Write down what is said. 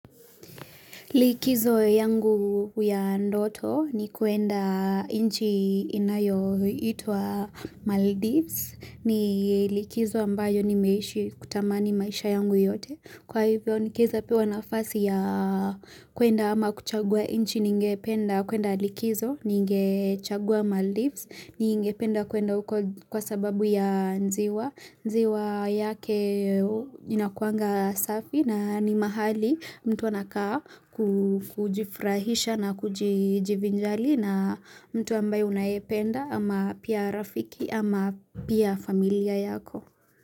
Likizo yangu ya ndoto ni kwenda nchi inayoitwa Maldives ni likizo ambayo nimeishi kutamani maisha yangu yote. Kwa hivyo nikiweza pewa nafasi ya kwenda ama kuchagua nchi ninge penda kwenda likizo ningechagua Maldives ningependa kwenda huko kwa sababu ya ziwa. Ziwa yake inakuanga safi na ni mahali mtu anakaa kujifurahisha na kujivinjali na mtu ambaye unayependa ama pia rafiki ama pia familia yako.